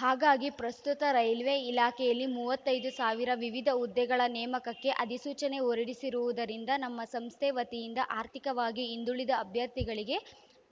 ಹಾಗಾಗಿ ಪ್ರಸ್ತುತ ರೈಲ್ವೆ ಇಲಾಖೆಯಲ್ಲಿ ಮೂವತ್ತೈ ದು ಸಾವಿರ ವಿವಿಧ ಹುದ್ದೆಗಳ ನೇಮಕಕ್ಕೆ ಅಧಿಸೂಚನೆ ಹೊರಡಿಸಿರುವುದರಿಂದ ನಮ್ಮ ಸಂಸ್ಥೆ ವತಿಯಿಂದ ಆರ್ಥಿಕವಾಗಿ ಹಿಂದುಳಿದ ಅಭ್ಯರ್ಥಿಗಳಿಗೆ